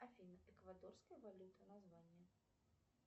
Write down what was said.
афина эквадорская валюта название